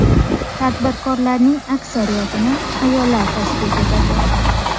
Tadbirkorlarning aksariyatini ayollar tashkil etadi.